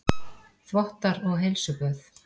Þvottar og heilsuböð